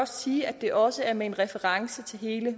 sige at det også er med reference til hele